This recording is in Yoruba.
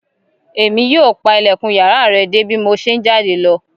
E mi yóò pa ilẹkun yàrá rẹ de bi mo ṣe n jáde lọ